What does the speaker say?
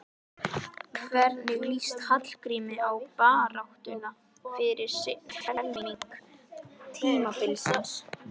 Hvernig lýst Hallgrími á baráttuna fyrir seinni helming tímabilsins?